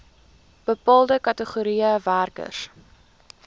bepaalde kategorieë werkers